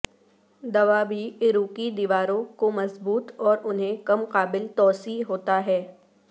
دوا بھی عروقی دیواروں کو مضبوط اور انہیں کم قابل توسیع ہوتا ہے